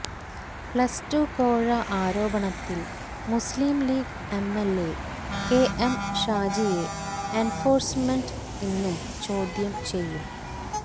plus two കോഴ ആരോപണത്തിൽ Muslim League MLA KM ഷാജിയെ എൻഫോഴ്സമെന്റ് ഇന്നും ചോദ്യം ചെയ്യും